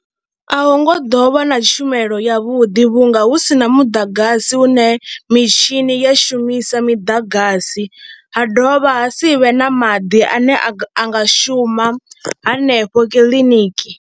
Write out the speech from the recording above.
A hu ngo ḓo vha na tshumelo yavhuḓi vhunga hu si na muḓagasi hu ne mitshini ya shumisa miḓagasi ha dovha ha si vhe na maḓi ane a nga shuma hanefho kiḽiniki.